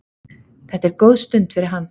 Þetta er góð stund fyrir hann.